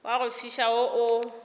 wa go fiša wo o